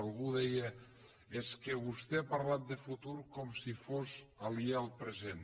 algú deia és que vostè ha parlat de futur com si fos aliè al present